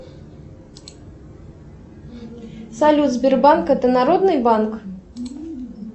салют сбербанк это народный банк